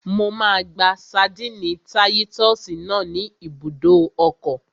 Mo máa gba ṣadínnì táyítọ́sì náà ní ibùdó ọkọ̀